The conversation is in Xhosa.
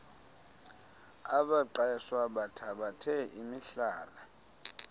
abaqeshwa bathabathe imihlala